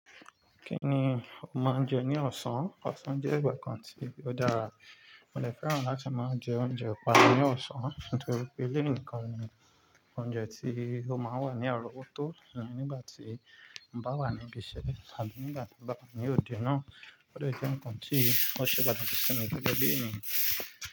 Kí ni o máa ń jẹ ní ọ̀sán? Ọ̀sán jẹ́ ìgbà kan tí ó dára, mo dè fẹ́ràn láti máa jẹ oúnjẹ ọ̀pá ní ọ̀sán nítorí pé léèníkan ni oúnjẹ tí ó máa ń wà ní arọ̀ wọ́ tó nígbà tí mo bá wà níbi iṣẹ́ tàbí nígbà tí mo bá wà ní òde náà. O dè jẹ́ ǹkan tí ó ṣe pàtàkì sí mi gẹ́gẹ́ bí èniyàn.